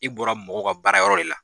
I bɔra mɔgɔw ka baara yɔrɔ de la.